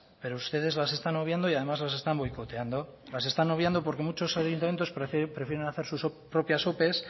pero ustedes las están obviando y además las están boicoteando las están obviando porque muchos ayuntamientos prefieren hacer sus propias ope